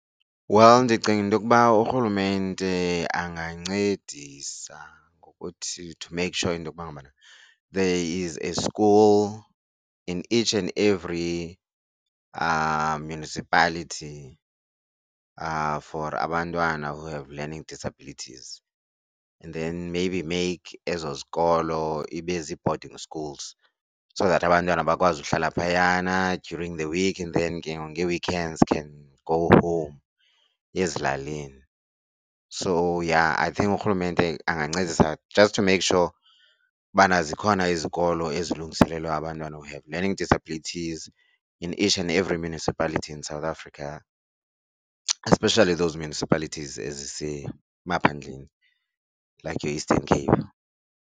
Well, ndicinga into kuba urhulumente angancedisa ngokuthi to make sure into yokuba ngabana there is a school in each and every municipality for abantwana who have learning disabilities. And then maybe make ezo zikolo ibe zii-boarding schools so that abantwana bakwazi uhlala phayana during the week and then ke ngoku ngee-weekends can go home ezilalini. So, yha I think urhulumente angancedisa just to make sure ubana zikhona izikolo ezilungiselelwe abantwana who have learning disabilities in each and every municipality in South Africa especially those municipalities ezisemaphandleni like your Eastern Cape.